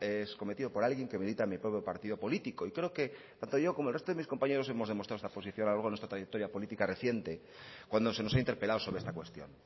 es cometido por alguien que milita en mi propio partido político y creo que tanto yo como el resto de mis compañeros hemos demostrado esta posición a lo largo de nuestra trayectoria política reciente cuando se nos ha interpelado sobre esta cuestión